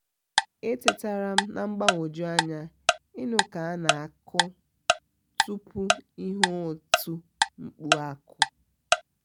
e tetara m na mgbagwoju anya ịnụ aka ana akụ tupu ihe oti mkpu m akuọ